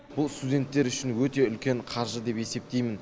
бұл студенттер үшін өте үлкен қаржы деп есептеймін